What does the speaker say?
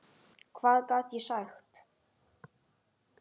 Hvað gat ég sagt?